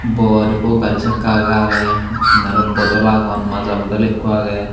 bor ikko gaari chakka agey agey aro bodol agon maza bodol ikko agey.